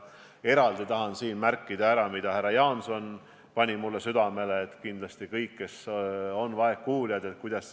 Eraldi tahan siin ära märkida seda, mida härra Jaanson mulle südamele pani, et kuidas vaegkuuljateni jõuda.